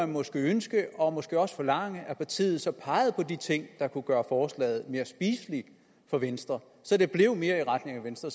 måske ønske og måske også forlange at partiet så pegede på de ting der kunne gøre forslaget mere spiseligt for venstre så det blev mere i retning af venstre